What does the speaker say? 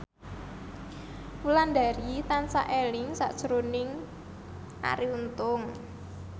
Wulandari tansah eling sakjroning Arie Untung